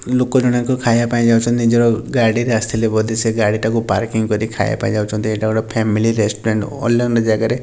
ଲୋକ ଜଣଙ୍କ ଖାଇବା ପାଇଁ ଯାଉଚନ୍ତି। ଓଓ ନିଜର ଗାଡ଼ିରେ ଆସିଥିଲେ ବୋଧେ ସେ ଗାଡ଼ିଟାକୁ ପାର୍କିଂ କରି ଖାଇବା ପାଇଁ ଯାଉଚନ୍ତି ଏଇଟା ଗୋଟେ ଫ୍ୟାମିଲି ରେଷ୍ଟୁରାଣ୍ଟ୍ ଅଲନ ଜାଗାରେ --